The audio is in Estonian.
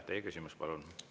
Teie küsimus, palun!